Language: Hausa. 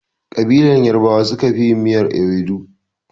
Ƙabilar yarbawa su suka fi yin miyar iwedu.